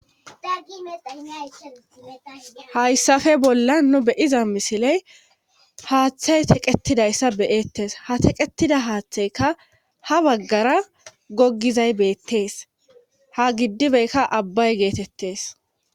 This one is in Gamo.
Hayssafe bolla nu beyiza misiley haaththey teqetidayssa beyettes ha teqqetida haaththeykka ha baggara gogizay beettees ha giddibeykka abbay geetettees